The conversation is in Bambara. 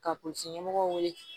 Ka kunmɔgɔw wele